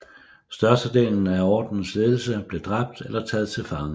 Størstedelen af Ordenens ledelse blev dræbt eller taget til fange